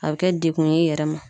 A be kɛ dekun ye i yɛrɛ ma.